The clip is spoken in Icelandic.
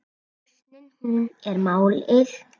Lausnin hún er málið.